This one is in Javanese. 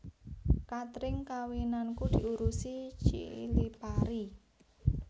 Katring kawinanku diurusi Chilipari